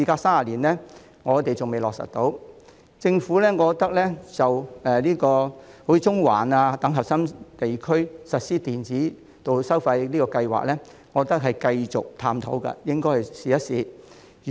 數年前，政府在中環等核心區實施電子道路收費先導計劃，我認為應該繼續探討並試行。